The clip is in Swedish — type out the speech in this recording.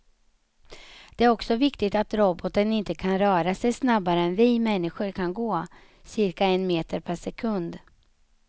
Det är också viktigt att roboten inte kan röra sig snabbare än vi människor kan gå, cirka en meter per sekund.